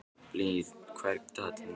Blín, hvað er á dagatalinu í dag?